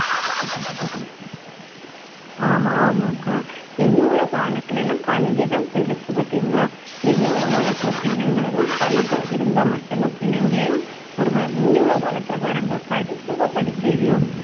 ஆமா ஆமாக்கா இனி உள்ள காலத்துல எல்லாம் கல்விதான் பெருசு பார்த்தீங்களா இனி உள்ள காலத்துல பிள்ளைகளுக்கும் கல்வி இருந்தா மட்டும் தான் பிள்ளைங்களையும் ஒரு ம~ முந்தி உள்ள காலத்துல பாருங்க படிச்சமோ படிக்கையிலையோ